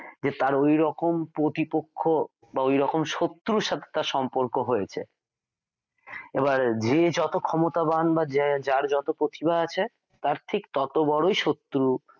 যে তার ঐরকম প্রতিপক্ষ বা ওই রকম শত্রুর সাথে তার সম্পর্ক হয়েছে এবার চেয়ে যত ক্ষমতাবান বা যার যত প্রতিভা আছে তা ঠিক তত বড়ই শত্রু